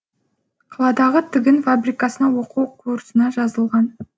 қаладағы тігін фабрикасына оқу курсына жазылған